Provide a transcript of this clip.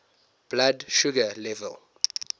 blood sugar level